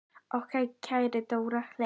Okkar kæra Dóra Hlín.